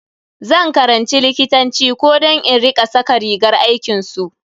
Zan karanci likitanci ko don in rika saka rigar aikinsu.